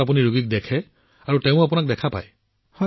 প্ৰধানমন্ত্ৰীঃ গতিকে আপুনি ৰোগীকো দেখা পায়